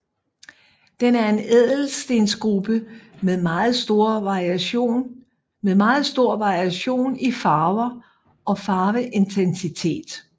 Den er en ædelstensgruppe med meget stor variation i farver og farveintensitet